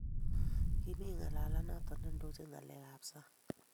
kimito ngalalet noto netondonochini ngalekab sang